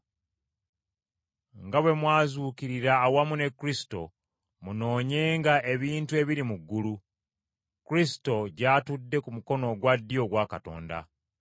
Nga bwe mwazuukirira awamu ne Kristo, munoonyenga ebintu ebiri mu ggulu, Kristo gy’atudde ku mukono ogwa ddyo ogwa Katonda.